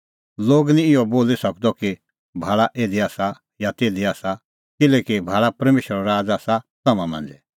लोग निं इहअ बोली सकदअ कि भाल़ा इधी आसा या तिधी आसा किल्हैकि भाल़ा परमेशरो राज़ आसा तम्हां मांझ़ै